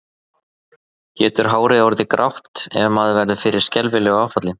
Getur hárið orðið grátt ef maður verður fyrir skelfilegu áfalli?